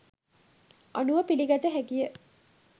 අනුව පිළිගත හැකිය.